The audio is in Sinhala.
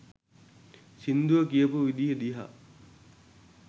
සිංදුව කියපු විදිය දිහා